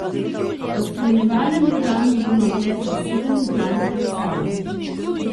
V spremljevalnem programu bo na ogled še sedem izbranih predstav.